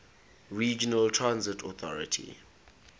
regional transit authority